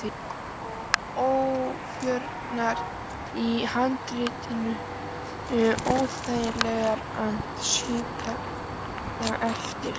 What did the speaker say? Og ójöfnurnar í handriðinu óþægilegar að strjúka eftir.